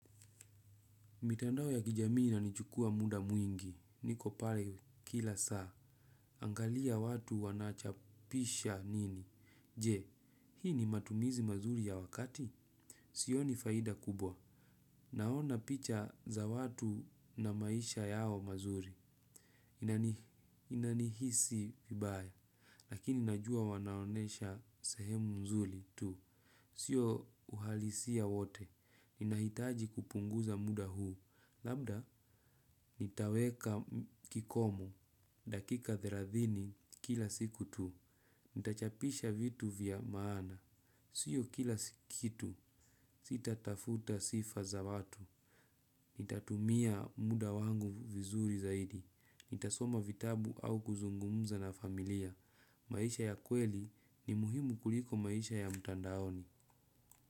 Mitandao ya kijamii inanichukua muda mwingi. Niko pale kila saa. Angalia watu wanachapisha nini. Je, hii ni matumizi mazuri ya wakati? Sioni faida kubwa. Naona picha za watu na maisha yao mazuri. Inanihisi vibaya. Lakini najua wanaonyesha sehemu mzuri tu. Sio uhalisia wote. Ninahitaji kupunguza muda huu. Labda, nitaweka kikomo. Dakika thelathini kila siku tu. Nitachapisha vitu vya maana. Sio kila kitu. Sitatafuta sifa za watu. Nitatumia muda wangu vizuri zaidi. Nitasoma vitabu au kuzungumza na familia. Maisha ya kweli ni muhimu kuliko maisha ya mtandaoni.